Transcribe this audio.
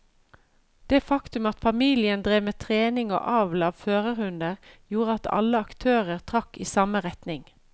Det faktum at familien drev med trening og avl av førerhunder gjorde at alle aktører trakk i samme retning.